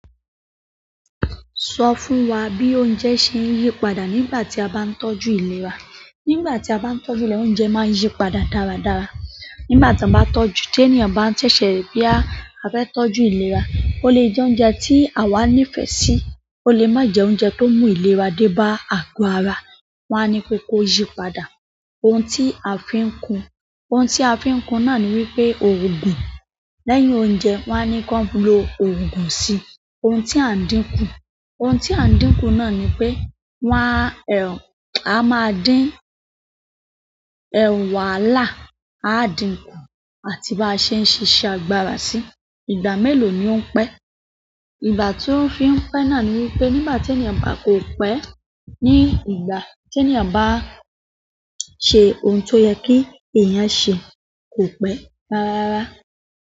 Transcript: Sọ fún wa bí oúnjẹ ṣe ń yí padà nígbà tí a bá ń tọ́jú ìlera. Nígbà tí a bá ń tọ́jú ìlera, oúnjẹ máa ń yí padà dára dára. Nígbà tí a bá tọ́jú, tí ènìyàn bá ń ṣẹ̀ṣẹ̀ boya a fẹ́ tọ́jú ìlera, ó lè jẹ oúnjẹ tí àwa nífẹ̀ẹ́ sí, ó lè má jẹ oúnjẹ tó mú ìlera dé bá ago ara. Wọ́n á ni pé kó yí padà ohun tí a fi ń kun. Ohun tí a fi ń kun náà ni wípé ògùn. Lẹ́yìn oúnjẹ, wón á ni kó lo ògùn sí ohun tí à ń dínkù. Ohun tí à ń dínkù náà ni pé wá a máa dín wàhálà, a dínkù àti bi á ṣe ń ṣíṣe agbára sí. Ìgbà mélòó ni ó ń pẹ́. Ìgbà tí ó fi ń pẹ́ náà ni wípé nígbà tí ènìyàn bá kò pẹ́, ní ìgbà tí ènìyàn bá ṣe ohun tó yẹ kí ènìyàn ṣe kò pẹ́. Rárá.